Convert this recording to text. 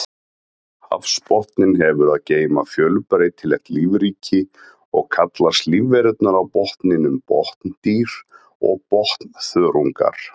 Hafsbotninn hefur að geyma fjölbreytilegt lífríki og kallast lífverurnar á botninum botndýr og botnþörungar.